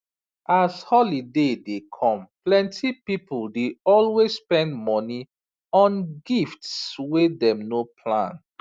as holiday dey come plenty people dey always spend money on gifts wey dem no plan